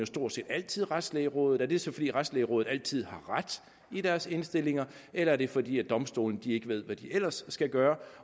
stort set altid retslægerådet er det så fordi retslægerådet altid har ret i deres indstillinger eller er det fordi domstolene ikke ved hvad de ellers skal gøre